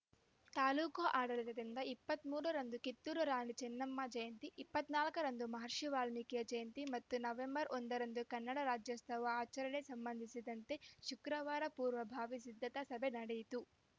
ತಾಲೂಕು ಆಡಳಿತದಿಂದ ಇಪ್ಪತ್ತ್ ಮೂರರಂದು ಕಿತ್ತೂರು ರಾಣಿ ಚೆನ್ನಮ್ಮ ಜಯಂತಿ ಇಪ್ಪತ್ತ್ ನಾಲ್ಕ ರಂದು ಮಹರ್ಷಿ ವಾಲ್ಕೀಕಿ ಜಯಂತಿ ಮತ್ತು ನವೆಂಬರ್‌ ಒಂದರಂದು ಕನ್ನಡ ರಾಜ್ಯೋತ್ಸವ ಆಚರಣೆ ಸಂಬಂಧಿಸಿದಂತೆ ಶುಕ್ರವಾರ ಪೂರ್ವಭಾವಿ ಸಿದ್ದತಾ ಸಭೆ ನಡೆಯಿತು